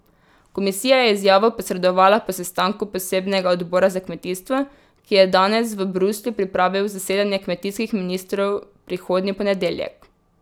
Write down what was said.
Komisija je izjavo posredovala po sestanku posebnega odbora za kmetijstvo, ki je danes v Bruslju pripravil zasedanje kmetijskih ministrov prihodnji ponedeljek.